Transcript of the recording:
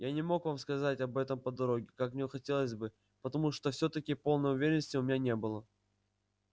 я не мог вам сказать об этом по дороге как мне хотелось бы потому что всё-таки полной уверенности у меня не было